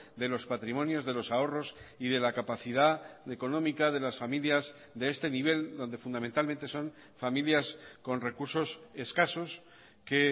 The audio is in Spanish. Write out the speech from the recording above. de los patrimonios de los ahorros y de la capacidad económica de las familias de este nivel donde fundamentalmente son familias con recursos escasos que